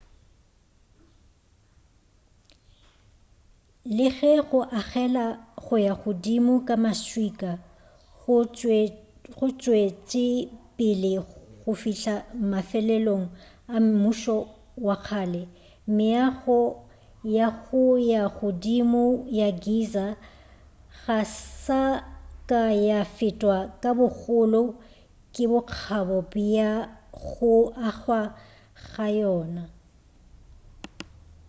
le ge go agela go ya godimo ka maswika go tšwetšepele go fihla mafelelong a mmušo wa kgale meago ya go ya godimo ya giza ga sa ka ya fetwa ka bogolo le bokgabo bja go agwa ga yona